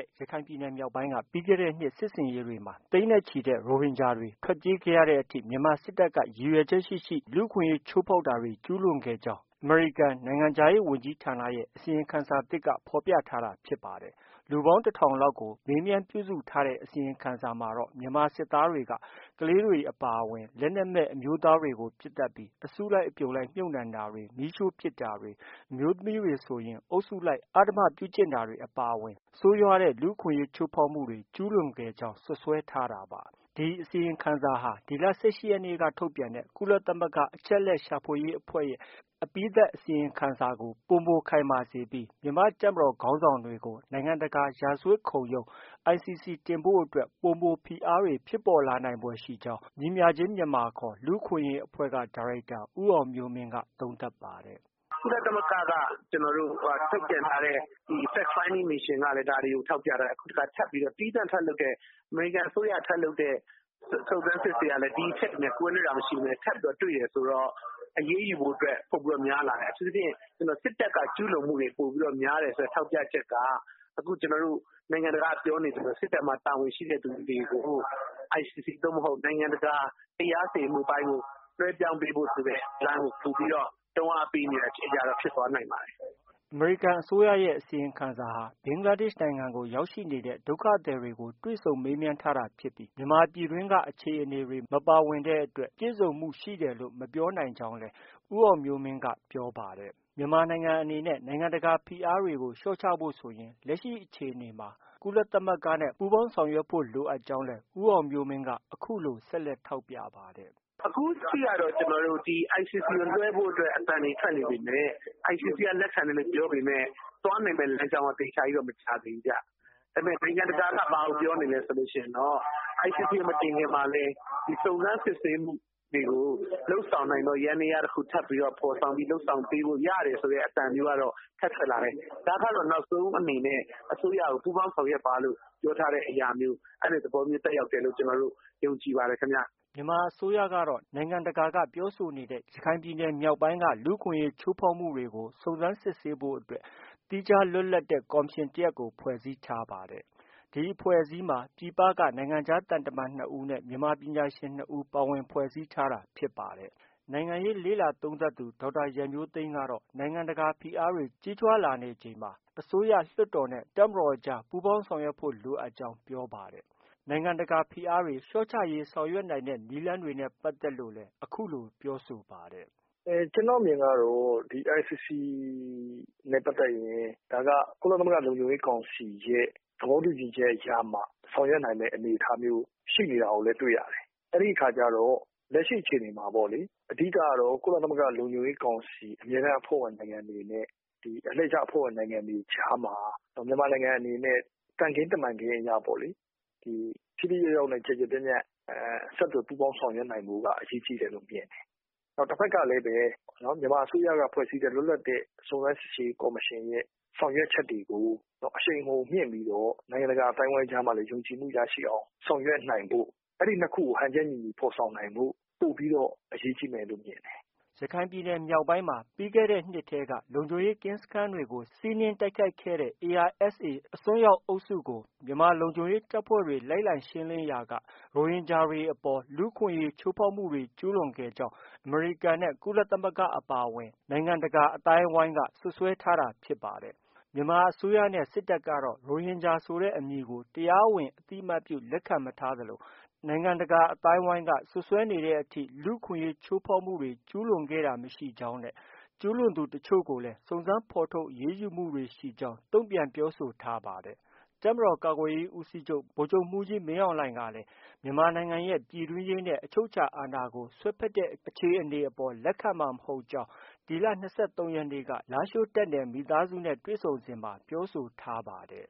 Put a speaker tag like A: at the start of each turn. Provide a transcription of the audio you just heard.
A: ယ်။ ရခိုင်ပြည်နယ်မြောက်ပိုင်းက ပြီးခဲ့တဲ့နှစ်ထဲ စစ်ဆင်ရေးတွေမှာ သိန်းနဲ့ချီတဲ့ ရိုဟင်ဂျာတွေ ထွက်ပြေးခဲ့ရတဲ့အထိ မြန်မာစစ်တပ်က ရည်ရွယ်ချက်ရှိရှိ လူ့အခွင့်အရေး ချိုးဖောက်မှုတွေ ကျုးလွန်ခဲ့ကြောင်း အမေရိကန်နိုင်ငံခြားရေးဝန်ကြီးဌာနရဲ့ အစီရင်ခံစာသစ်က ဖော်ပြထားတာ ဖြစ်ပါတယ်။ လူပေါင်း တထောင်လောက်ကို မေးမြန်းပြုစုထားတဲ့ အစီရင်ခံစာမှာတော့ မြန်မာစစ်သားတွေက ကလေးတွေ အပါအဝင် လက်နက်မဲ့ အမျိုးသားတွေကို ပစ်သတ်ပြီး၊ အစုလိုက်အပြုံလိုက် မြှုပ်နှံတာတွေ၊ မီးရှို့ပစ်တာတွေ၊ အမျိုးသမီးတွေ ဆိုရင်လည်း အုပ်စုလိုက်အဓမ္မပြုကျင့်တာတွေ အပါအဝင် ဆိုးရွားတဲ့ လူ့အခွင့်အရေး ချိုးဖောက်မှုတွေ ကျုးလွန်ခဲ့ကြောင်း စွပ်စွဲထားတာပါ။ ဒီအစီရင်ခံစာဟာ ဒီလ ၁၈ရက်နေ့က ထုတ်ပြန်တဲ့ ကုလသမဂ္ဂအချက်အလက်ရှာဖွေရေးအဖွဲ့ရဲ့ အပြီးသတ် အစီရင်ခံစာကို ပိုမိုခိုင်မာစေပြီးမန်မာတပ်မတော် ခေါင်းဆောင်တွေကို နိုင်ငံတကာ ရာဇဝတ်ခုံရုံး ICC တင်ဖို့အတွက် ပိုမိုဖိအားတွေဖြစ်ပေါ်လာဖွယ်ရှိကြောင်း ညီမျှခြင်းမြန်မာ လူ့အခွင့်အရေးအဖွဲ့ ဒါရိုက်တာ ဦးအောင်မျိုးမင်းက သုံးသပ်ပါတယ်။ "
B: ကုလသမဂ္ဂက ထုတ်ပြန်ထားတဲ့ Fact finding Missions ကလည်း ဒါတွေကို ထောက်ပြထားတယ်။ တခါထပ်ပြီးတော့ သီးသန့် အမေရိကန်အစိုးရက ထပ်လုပ်တဲ့ စုံစမ်းစစ်ဆေးမှုတွေကလည်း ဒီအချက်တွေနဲ့ ကွဲလွဲတာမရှိဘူး ထပ်ပြီးတော့ တွေ့တယ်ဆိုတော့ အရေးယူဖို့အတွက်ပိုပိုများလာတယ်။ အထူးသဖြင့် စစ်တပ်က ကျူးလွန်မှုတွေ ပိုများတယ်ဆိုတဲ့ထောက်ပြချက်က အခုနိုင်ငံတကာကပြောနေသလိုပဲ စစ်တပ်မှာ တာဝန်ရှိသူတွေကို ICC သို့မဟုတ် နိုင်ငံတကာ တရားစီရင်မှုအပိုင်းကို လွဲပြောင်းပေးဖို့ဆိုတဲလမ်းကို တွန်းအားပေးဖို့သေချာနေတာ ဖြစ်သွားနိုင်ပါတယ်။
A: " အမေရိကန်အစိုးရရဲ့ အစီရင်ခံစာဟာ ဘင်္ဂလားဒေ့ရှ်နိုင်ငံကို ရောက်ရှိနေတဲ့ ဒုက္ခသည်တွေနဲ့ တွေ့ဆုံမေးမြန်းထားတာဖြစ်ပြီး မြန်မာပြည်တွင်းက အခြေအနေတွေ မပါဝင်တဲ့အတွက် ပြည့်စုံမှုရှိတယ်လို့ မပြောနိုင်ကြောင်းလည်း ဦးအောင်မျိုးမင်းက ပြောပါတယ်။ မြန်မာနိုင်ငံအနေနဲ့ နိုင်ငံတကာဖိအားတွေကို လျှော့ချဖို့ဆိုရင် လက်ရှိအခြေအနေမှာ ကုလသမဂ္ဂနဲ့ ပူးပေါင်းဆောင်ရွက်ဖို့ လိုအပ်ကြောင်းလည်း ဦးအောင်မျိုးမင်းက အခုလို ဆက်လက် ထောက်ပြပါတယ်။
B: "အခုအထိကတော့ ကျနော်တို့ ICC ကိုလွဲဖို့အတွက် အသံတွေထွက်နေပေမယ့် ICC ကလက်ခံမယ်လို့ပြောနေပေမယ့် သွားနိုင်မယ့်လမ်းကြောင်းက အသေချာကြီးတော့ မရသေးဘူးခင်ဗျ။ ဒါပေမယ့် နိုင်ငံတကာက ဘာကိုပြောနေသလဲဆိုတော့ ICC မတင်ခင်မှာလည်း စုံစမ်းစစ်ဆေးမှုတွေကို လုပ်ဆောင်နိုင်တဲ့ ယန္တယားတခု ထပ်ပြီးတော့ ဖော်ဆောင်ပေးလို့ ရတယ်ဆိုတဲ့ အသံမျိုးကတော့ ထပ်ထွက်လာတယ်။ ဒါကတော့ နောက်ဆုံးအနေနဲ့ အစိုးရကို ပူးပေါင်းဆောင်ရွက်ပါလို့ ပြောထားတဲ့အရာမျိုး အဲလိုသဘောမျိုးသက်ရောက်တယ်လို့ ကျနော်တို့ ယုံကြည်ပါတယ်ခင်ဗျ။
A: " မြန်မာအစိုးရကတော့ နိုင်ငံတကာက ပြောဆိုနေတဲ့ ရခိုင်ပြည်နယ်မြောက်ပိုင်းက လူ့အခွင့်အရေး ချိုးဖောက်မှုတွေကို စုံစမ်းစစ်ဆေးဖို့အတွက် သီးခြားလွတ်လပ်တဲ့ ကော်မရှင်တရပ်ကို ဖွဲ့စည်းထားပါတယ်။ ဒီအဖွဲ့အစည်းမှာ ပြည်ပက နိုင်ငံခြားသံတမန် ၂ဦးနဲ့ မြန်မာပညာရှင် ၂ဦး ပါဝင်ဖွဲ့စည်းထားတာဖြစ်ပါတယ်။ နိုင်ငံရေးလေ့လာသုံးသပ်သူ ဒေါက်တာ ရန်မျိုးသိမ်းကတော့ နိုင်ငံတကာ ဖိအားတွေ ကြီးထွားလာနေချိန်မှာ အစိုးရ၊ လွှတ်တော်နဲ့ တပ်မတော်ကြား ပူးပေါင်းဆောင်ရွက်ဖို့ လိုအပ်ကြောင်း ပြောပါတယ်။ နိုင်ငံတကာဖိအားတွေ လျော့ချရေး ဆောင်ရွက်နိုင်တဲ့ နည်းလမ်းတွေနဲ့ ပတ်သက်လို့လည်း အခုလို ပြောဆိုပါတယ်
C: ။ "ကျနော့်အမြင်ကတော့ ICC နဲ့ ပတ်သက်ရင် ဒါက ကုလလုံခြုံရေးကောင်စီရဲ့ သဘောတူညီချက်ကြားမှာ ဆောင်ရွက်နိုင်မယ့်အနေအထားမျိုး ရှိနေတာကိုလည်း တွေ့ရတယ်။ အဲဒီအခါကျတော့ အဓိကတော့ ကုလလုံခြုံရေးကောင်စီအမြဲတမ်းအဖွဲ့ဝင်နိုင်ငံတွေနဲ့ အလှည့်ကျအဖွဲ့ဝင် နိုင်ငံတွေကြားမှာ မြန်မာနိုင်ငံအနေနဲ့ သံခင်းတမန်ခင်းအရပေါ့လေ ထိထိရောက်ရောက်နဲ့ ကျယ်ကျယ်ပြန့်ပြန့်ဆက်သွယ်ဆောင်ရွက်နိုင်ဖို့က အရေးကြီးတယ်လို့ မြင်တယ်။ တဖက်ကလည်း မြန်မာအစိုးရကဖွဲ့စည်းတဲ့ လွတ်လပ်တဲ့ စုံစမ်းစစ်ဆေးရေးကော်မရှင်ရဲ့ ဆောင်ရွက်ချက်တွေကို အရှိန်အဟုန်မြှင့်ပြီးတော့ နိုင်ငံတကာအသိုင်းအဝိုင်းကြားမှာ ယုံကြည်မှုရရှိအောင်ဆောင်ရွက်နိုင်ဖို့ အဲဒီ ၂ ခုကို ဟန်ချက်ညီညီဖော်ဆောင်နိုင်ဖို့ ပိုပြီးတော့ အရေးကြီးမယ်လို့ မြင်တယ်။
A: " ရခိုင်ပြည်နယ် မြောက်ပိုင်းမှာ ပြီးခဲ့တဲ့နှစ်ထဲ လုံခြုံရေးကင်းစခန်းတွေကို စီးနင်းတိုက်ခိုက်ခဲ့တဲ့ ARSA အစွန်းရောက်အုပ်စုကို မြန်မာလုံခြုံရေးတပ်ဖွဲ့တွေ လိုက်လံရှင်းလင်းရာက ရိုဟင်ဂျာတွေအပေါ် လူ့အခွင့်အရေး ချိုးဖောက်မှုတွေ ကျုးလွန်ခဲ့ကြောင်း အမေရိကန်နဲ့ ကုလသမဂ္ဂ အပါအဝင် နိုင်ငံတကာ အသိုင်းအဝန်းက စွပ်စွဲထားတာ ဖြစ်ပါတယ်။ မြန်မာအစိုးရနဲ့ စစ်တပ်ကတော့ ရိုဟင်ဂျာဆိုတဲ့ အမည်ကို တရားဝင် အသိအမှတ်ပြု လက်ခံမထားသလို၊ နိုင်ငံတကာ အသိုင်းအဝန်းက စွပ်စွဲနေတဲ့အထိ လူ့အခွင့်အရေး ချိုးဖောက်မှုတွေ ကျုးလွန်ခဲ့တာ မရှိကြောင်းနဲ့ ကျုးလွန်သူတချို့ကိုလည်း စုံစမ်းဖော်ထုတ် အရေးယူမှုတွေ ရှိခဲ့ကြောင်းလည်း တုံ့ပြန်ပြောဆိုထားပါတယ်။ တပ်မတော် ကာကွယ်ရေးဦးစီးချုပ် ဗိုလ်ချုပ်မှုးကြီးမင်းအောင်လှိုင်ကလည်း မြန်မာနိုင်ငံရဲ့ ပြည်တွင်းရေးနဲ့ အချုပ်အခြာအာဏာကို စွက်ဖက်တဲ့အခြေအနေအပေါ် လက်ခံမှာမဟုတ်ကြောင်း ဒီလ ၂၃ရက်နေ့ လားရှိုးတပ်နယ် မိသားစုနဲ့ တွေ့ဆုံစဉ်မှာ ပြောဆိုထားပါတယ်